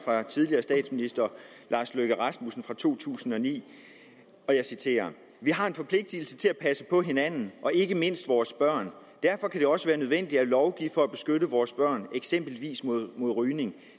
af tidligere statsminister lars løkke rasmussen fra 2009 jeg citerer vi har en forpligtigelse til at passe på hinanden og ikke mindst vores børn derfor kan det også være nødvendigt at lovgive for at beskytte vores børn eksempelvis mod mod rygning